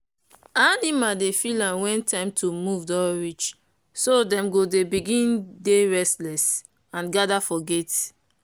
animal dey feel am wen time to move doh reach so them go dey begin dey restless and gather for gate.